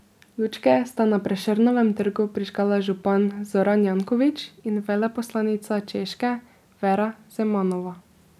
Lučke sta na Prešernovem trgu prižgala župan Zoran Janković in veleposlanica Češke Vera Zemanova.